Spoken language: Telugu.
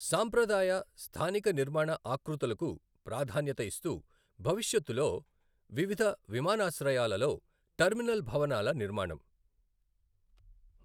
సాంప్రదాయ, స్థానిక నిర్మాణ ఆకృతులకు ప్రాధాన్యత ఇస్తూ భవిష్యత్తులో వివిధ విమానాశ్రయాలలో టెర్మినల్ భవనాల నిర్మాణం